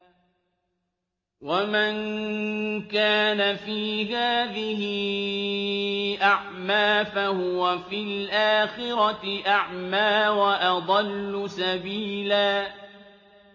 وَمَن كَانَ فِي هَٰذِهِ أَعْمَىٰ فَهُوَ فِي الْآخِرَةِ أَعْمَىٰ وَأَضَلُّ سَبِيلًا